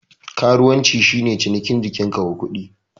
Karuwanci shi ne cinikin jikin ka wa kuɗi.